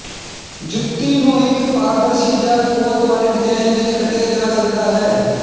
ਜੁੱਤੀ ਨੂੰ ਇਕ ਪਾਰਦਰਸ਼ੀ ਜਾਂ ਕੋਤ ਵਾਲੇ ਡਿਜ਼ਾਇਨ ਵਿਚ ਕੱਟਿਆ ਜਾ ਸਕਦਾ ਹੈ